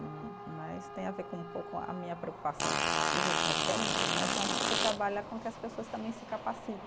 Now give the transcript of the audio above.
hum né, isso tem a ver com um pouco a minha preocupação nos últimos tempos né, que é um pouco trabalhar com que as pessoas também se capacitem.